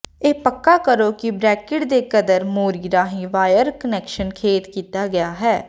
ਇਹ ਪੱਕਾ ਕਰੋ ਕਿ ਬ੍ਰੈਕਿਟ ਦੇ ਕਦਰ ਮੋਰੀ ਰਾਹੀਂ ਵਾਇਰ ਕਨੈਕਸ਼ਨ ਖੇਤ ਕੀਤਾ ਗਿਆ ਹੈ